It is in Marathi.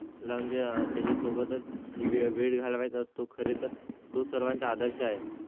विद्यार्थ्या ला त्याच्या सोबतचा वेळ घालवायचा असतो. खरे तर तो सर्वांचा आदर्श आहे.